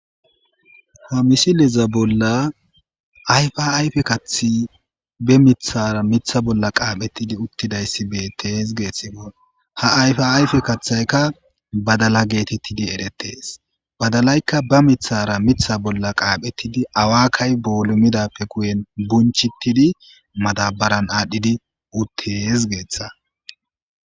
ha misileza bolla ayfaayfe kathi be mithara mitha bolla qaaphettidi uttidayssi be tees geethsimo ha ayfa ayfe kathaykka badala geetettidi erettees badalaykka ba mithara mitha bolla qaaphettidi awakay boolumidappe kuyen bunchittidi madabaran aadhdhidi uttees geeththa